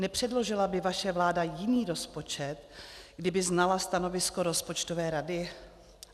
Nepředložila by vaše vláda jiný rozpočet, kdyby znala stanovisko rozpočtové rady?